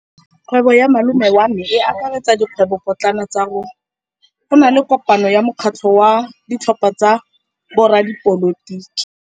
Kgwêbô ya malome wa me e akaretsa dikgwêbôpotlana tsa rona. Go na le kopanô ya mokgatlhô wa ditlhopha tsa boradipolotiki.